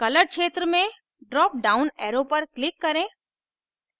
color क्षेत्र में drop down arrow पर click करें